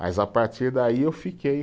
Mas a partir daí eu fiquei.